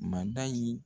Mada in